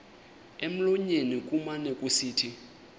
emlonyeni kumane kusithi